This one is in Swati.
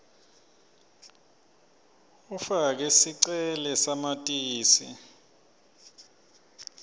ufake sicele samatisi